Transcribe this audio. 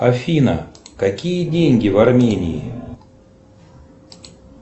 афина какие деньги в армении